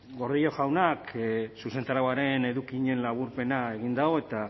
gordillo jaunak zuzentarauaren edukien laburpena egin du eta